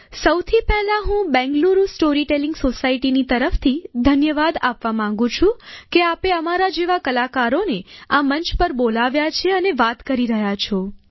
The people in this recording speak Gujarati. સૌથી પહેલાં હું બેંગલુરુ સ્ટોરી ટેલીંગ સોસાયટીની તરફથી ઘન્યવાદ આપવા માંગુ છું કે આપે અમારા જેવા કલાકારોને આ મંચ પર બોલાવ્યા છે અને વાત કરી રહ્યા છો